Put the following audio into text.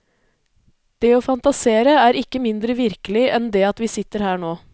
Det å fantasere er ikke mindre virkelig enn det at vi sitter her nå.